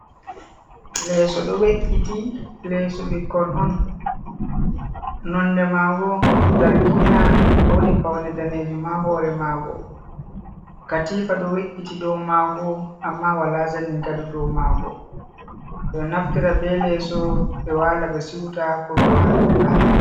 Leeso ɗo we’’iti leeso ɓikkon on nonde mago zargina , woɗi paune danejuum ha hore mago, katifa ɗo we’’iti dou mago amma wala zanin gado dou mago ,ɗo naftira be leeso ɓe wala ɓe siuta ko ɓe wala ɓe dana.